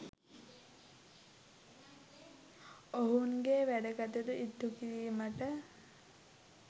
ඔවුන්ගේ වැඩකටයුතු ඉටුකිරීමට